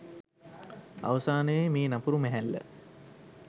අවසානයේ මේ නපුරු මැහැල්ල